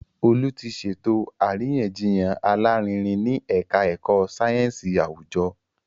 Olú ti ṣètò àríyànjiyàn alárinrin ní Ẹ̀ka ẹ̀kọ́ sáyẹ́nsì àwùjọ